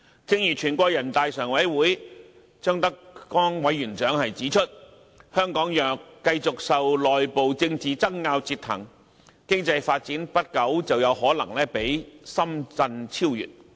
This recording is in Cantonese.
正如全國人大常委會張德江委員長指出，香港若繼續受內部政治爭拗折騰，經濟發展不久便可能會被深圳超越。